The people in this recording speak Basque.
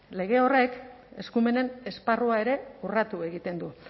lege horrek eskumenen esparrua ere urratu egiten du